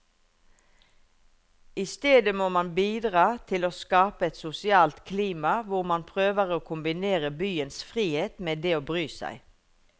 I stedet må man bidra til å skape et sosialt klima hvor man prøver å kombinere byens frihet med det å bry seg.